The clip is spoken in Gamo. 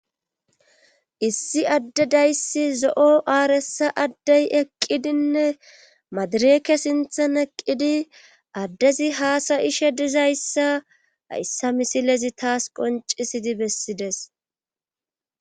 Issi adde dayssi zo'o arssa adde eqqidinne madireke sinthan eqidi addezi hasaishe dizayssa hayssa misilezi tas qonccisidi besidees.